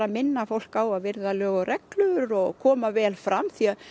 minna fólk á að virða lög og reglur og koma vel fram því